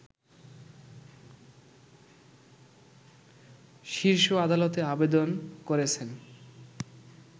শীর্ষ আদালতে আবেদন করেছেন